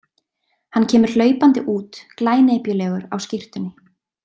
Hann kemur hlaupandi út, glænepjulegur á skyrtunni.